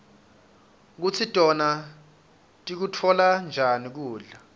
kutsi tona tikutfola njani kudla